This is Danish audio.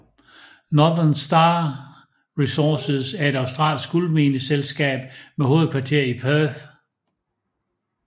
Northern Star Resources er et australsk guldmineselskab med hovedkvarter i Perth